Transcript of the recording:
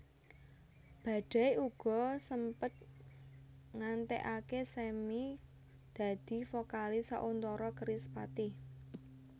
Badai uga sempet ngantèkaké Sammy dadi vokalis sauntara Kerispatih